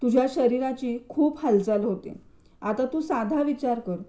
तुझ्या शरीराचे खूप हालचाल होते. आता तू साधा विचार कर